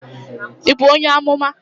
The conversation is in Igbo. Ị bụ onye Ọmụma?